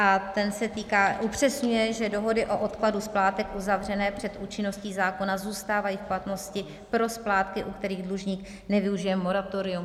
A ten se týká, upřesňuje, že dohody o odkladu splátek uzavřené před účinností zákona zůstávají v platnosti pro splátky, u kterých dlužník nevyužije moratorium.